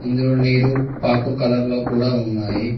ఇందులో నీరు పాకుర్ కలర్ లో కూడా ఉన్నాయ్.